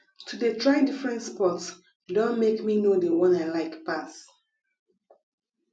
to de try different sports don make me know di one i like pass